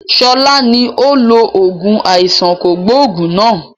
Sọlá ni ó lo oògùn àìsàn kògbógùn náà